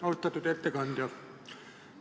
Austatud ettekandja!